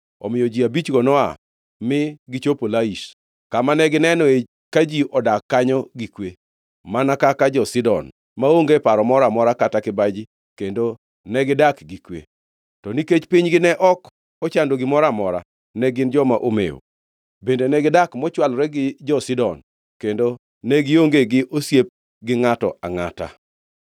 Omiyo ji abichgo noa mi gichopo Laish, kama negineno ka ji odak kanyo gi kwe, mana kaka jo-Sidon, maonge paro moro amora kata kibaji kendo negidak gi kwe. To nikech pinygi ne ok ochando gimoro amora, ne gin joma omewo. Bende, negidak mochwolore gi jo-Sidon kendo ne gionge gi osiep gi ngʼato angʼata.